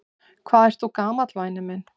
Hvað ert þú gamall væni minn?